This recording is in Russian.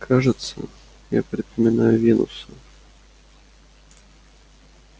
кажется я припоминаю венуса